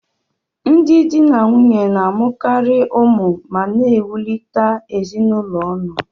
Ndị di na nwunye na-amụkarị ụmụ ma na-ewulikota ezinụlọ ọnụ.